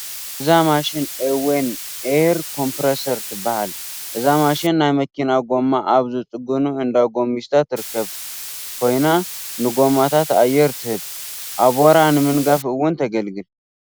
እዛ ማሽን ኦዌን ኤየር ኮምፕረሰር ትበሃል፡፡ እዛ ማሽን ናይ መኪና ጐማ ኣብ ዝፅግኑ እንዳ ጐሚስታ ትርከብ ኮይና ንጐማታት ኣየር ትህብ፡፡ ኣቦራ ንምንጋፍ እውን ተግልግል፡፡